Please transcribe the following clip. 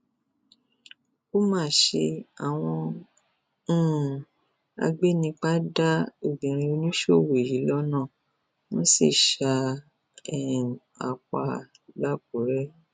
ó mà ṣe àwọn um agbanipa da obìnrin oníṣòwò yìí lọnà wọn sì sá um a pa làkúrẹ